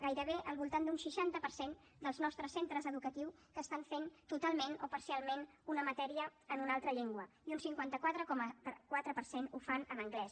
gairebé al voltant d’un seixanta per cent dels nostres centres educatius que estan fent totalment o parcialment una matèria en una altra llengua i un cinquanta quatre coma quatre per cent ho fan en anglès